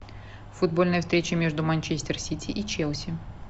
футбольная встреча между манчестер сити и челси